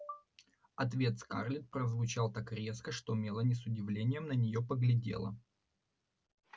ответ скарлетт прозвучал так резко что мелани с удивлением на нее поглядела